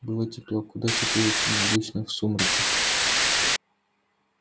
было тепло куда теплее чем обычно в сумраке